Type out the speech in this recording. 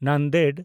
Nanded